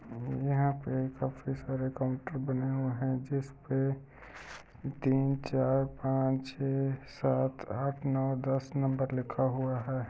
यहां पर काफी सारे काउंटर बने हुये है जिसपे तीन चार पांच छे सात आठ नौ दस नंबर लिखा हुआ है।